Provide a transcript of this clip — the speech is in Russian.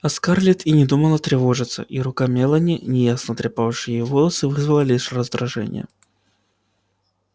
а скарлетт и не думала тревожиться и рука мелани неясно трепавшая её волосы вызвала лишь раздражение